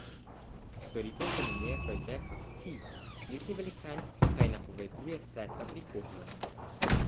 Storitev se imenuje Project Fi, spletni velikan pa ji napoveduje svetlo prihodnost.